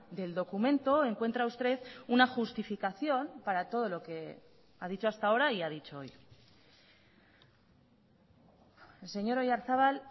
del documento encuentra usted una justificación para todo lo que ha dicho hasta ahora y ha dicho hoy señor oyarzabal